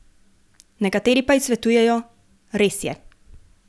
Nekateri pa ji svetujejo: "Res je.